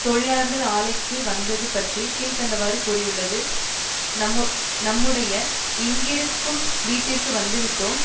தொழிலாளர்கள் ஆலைக்கு வந்தது பற்றி கீழ் கண்டவாறு கூறியுள்ளது நம்முடைய இங்கிருக்கும் வீடடிற்கு வந்துவிட்டோம்